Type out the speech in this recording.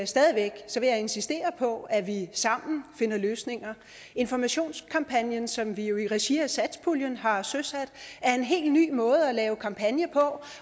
stadig væk insistere på at vi sammen finder løsninger informationskampagnen som vi jo i regi af satspuljen har søsat er en helt ny måde at lave kampagne på